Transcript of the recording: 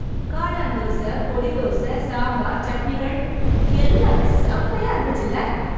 காளான் தோச, பொடி தோச, சாம்பார், சட்னிகள்... எல்லாமே செமையா இருந்துச்சுல்ல.